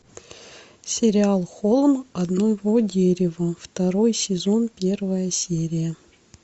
сериал холм одного дерева второй сезон первая серия